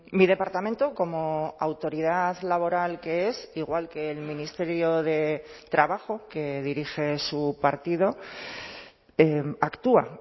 mi departamento como autoridad laboral que es igual que el ministerio de trabajo que dirige su partido actúa